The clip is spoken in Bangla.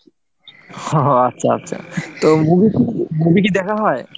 হো হো আচ্ছা আচ্ছা, তো movie কি movie কি দেখা হয়?